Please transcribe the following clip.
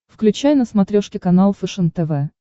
включай на смотрешке канал фэшен тв